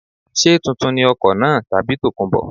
Ṣé tuntun ni ọkọ̀ náà tàbí tòkunbọ̀.